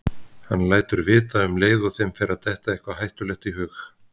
Hann lætur vita um leið og þeim fer að detta eitthvað hættulegt í hug.